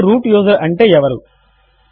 ఇప్పుడు root user అంటే ఎవరు